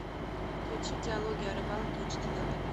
включи диалоги о рыбалке эйч ди на тв